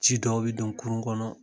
Ji dɔw bi don kurun kɔnɔ